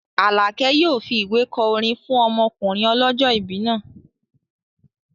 Alákẹ́ yóò fi ìwé kọ orin fún ọmọkùnrin ọlọ́jọ́ìbí náà